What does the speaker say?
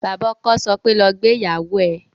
Bàbá ọkọ sọ pé "lọ gbé ìyàwó ẹ"